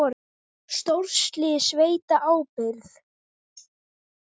Stórslys að veita ábyrgð